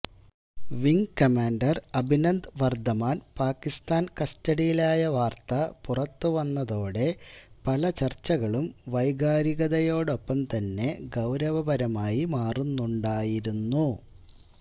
wing commander Abhinandan Varthaman Pakistan കസ്റ്റഡിയിലായ വാര്ത്ത പുറത്ത് വന്നതോടെ പല ചര്ച്ചകളും വൈകാരികതയോടൊപ്പം തന്നെ ഗൌരവപരമായി മാറുന്നുണ്ടായിരുന്നു